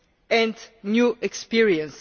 and new experience.